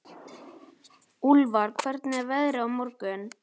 Úlfar, hvernig er veðrið á morgun?